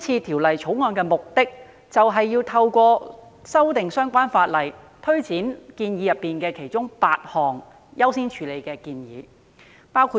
《條例草案》的目的是透過修訂相關法例，推展其中8項需要優先處理的建議。